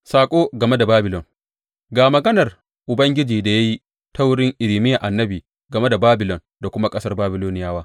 Saƙo game da Babilon Ga maganar Ubangiji da ya yi ta wurin Irmiya annabi game da Babilon da kuma ƙasar Babiloniyawa.